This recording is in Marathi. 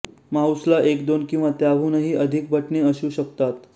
माऊसला एक दोन किंवा त्याहूनही अधिक बटणे असू शकतात